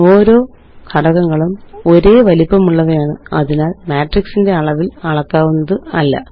ഓരോ ഘടകങ്ങളും ഒരേ വലിപ്പമുള്ളവയാണ് അതിനാല് മാട്രിക്സിന്റെ അളവില് അളക്കാവുന്നതല്ല